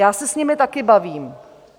Já se s nimi taky bavím.